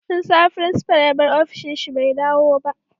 Tun safe principal ya bar ofishin shi bai dawo ba